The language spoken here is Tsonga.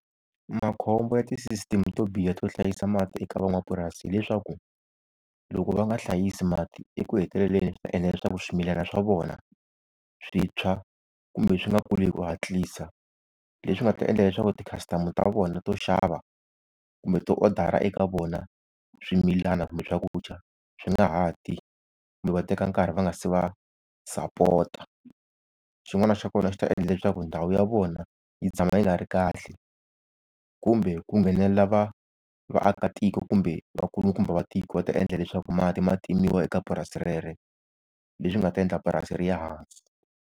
Makhombo ya ti-system-i to biha to hlayisa mati eka van'wamapurasi hi leswaku, loko va nga hlayisa mati eku heteleleni swi ta endla leswaku swimilana swa vona swi tshwa kumbe swi nga kuli hi ku hatlisa. Leswi nga ta endla leswaku ti-customer ta vona to xava kumbe to odara eka vona swimilana kumbe swakudya swi nga ha ti kumbe va teka nkarhi va nga se va sapota. Xin'wana xa kona xi ta endla leswaku ndhawu ya vona yi tshama yi nga ri kahle, kumbe ku nghenelela va vaakatiko kumbe vakulukumba tiko va ta endla leswaku mati ma timiwa eka purasi rero, leswi nga ta endla purasi ri ya hansi.